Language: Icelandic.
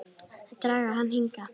Að draga hann hingað.